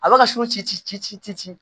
A bɛ ka su ci ci ci ci